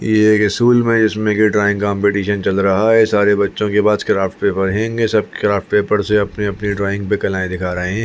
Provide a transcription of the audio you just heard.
ये एक स्कूल में जिसमें के ड्राइंग कॉम्पिटिशन चल रहा है सारे बच्चों के पास क्राफ्ट पेपर होंगे सब क्राफ्ट पेपर से अपने - अपने ड्राइंग पे कलाएं दिखा रहे है।